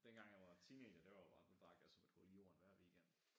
Dengang jeg var teenager det var jo bare der drak jeg som et hul i jorden hver weekend